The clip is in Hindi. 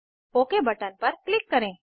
ओक बटन पर क्लिक करें